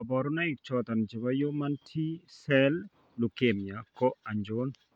kabarunaik choton chebo human T cell leukemia ko achon?